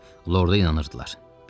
Onlar Lorda inanırdılar.